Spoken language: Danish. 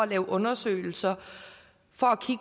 laver undersøgelser